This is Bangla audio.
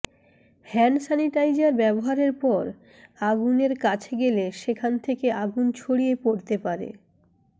হ্যান্ড স্যানিটাইজার ব্যবহারের পর আগুনের কাছে গেলে সেখান থেকে আগুন ছড়িয়ে পড়তে পারে